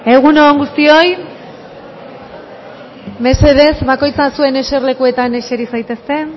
egun on guztioi mesedez bakoitza zuen eserlekuetan eseri zaitezte